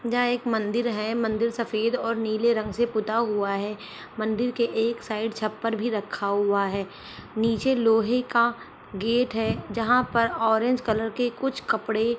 जहाँ एक मंदिर है मंदिर सफेद और नीले रंग से पुता हुआ है मंदिर की एक साईड छपर भी रखा हुआ है नीचे लोहे का गेट है जहाँ पर ओरेंज कलर के कुछ कपड़े --